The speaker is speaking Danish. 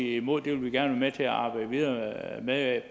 imod det vil vi gerne være med til at arbejde videre med